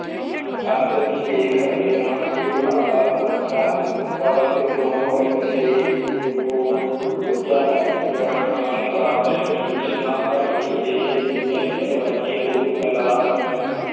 ਅੱਜ ਅਸੀਂ ਦੇਖ ਰਹੇਂ ਹਾਂ ਕਿ ਸਾਡਾ ਸੁੱਰਖਿਆ ਕਵਚ ਉਜੋਨ ਵਿੱਚ ਛੇਕ ਹੋ ਚੁੱਕਿਆ ਹੈ ਜਿਸ ਨਾਲ ਪਰਾਂਵੈਂਗਨੀ ਕਿਰਨਾਂ ਧਰਤੀ ਤੇ ਕੈਂਸਰ ਵਰਗੇ ਰੋਗ ਫੈਲਾ ਰਹੀਆਂ ਹਨ।